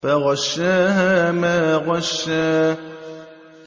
فَغَشَّاهَا مَا غَشَّىٰ